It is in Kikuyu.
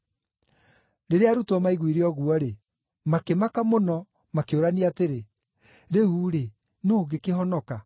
Rĩrĩa arutwo maiguire ũguo-rĩ, makĩmaka mũno, makĩũrania atĩrĩ, “Rĩu-rĩ, nũũ ũngĩkĩhonoka?”